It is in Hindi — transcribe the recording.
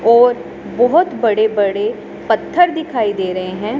और बहोत बड़े बड़े पत्थर दिखाई दे रहे हैं।